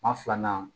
Maa filanan